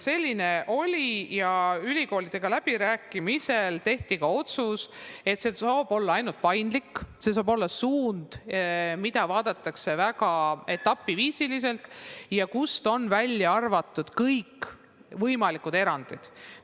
Selline oli ja ülikoolidega läbirääkimisel tehti otsus, et see saab olla ainult paindlik, see saab olla suund, mida vaadatakse etapiviisiliselt ja kust on välja arvatud kõik võimalikud erandid.